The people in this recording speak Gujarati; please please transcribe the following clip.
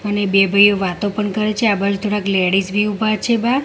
અને બે ભાઈઓ વાતો પણ કરે છે આ બાજુ થોડાક લેડીઝ બી ઊભા છે બાર.